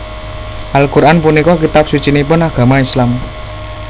Al Quran punika kitab sucinipun agama Islam